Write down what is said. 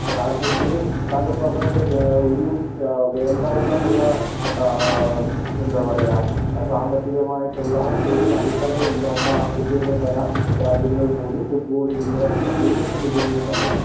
കാരണം ഇതിലും താങ്കൾ പറഞ്ഞതുപോലെ ഒരു വേണ്ടവണ്ണമുള്ള ഒരു എന്തപറയ ഒരു സാമ്പത്തികമായിട്ടുള്ള അടിത്തറ ഇല്ലാത്ത ആഫ്രിക്കയിലെ രാജ്യങ്ങൾ പോലും ഫുട്ബാളിൽ ഇന്ന് മുന്നിട്ട് നിൽക്കുന്ന സമയത്തു